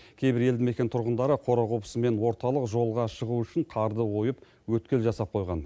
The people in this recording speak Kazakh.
кейбір елді мекен тұрғындары қора қопсы мен орталық жолға шығу үшін қарды ойып өткел жасап қойған